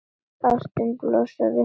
Ástin blossar upp að nýju.